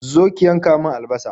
Zo ki yanka min albasa!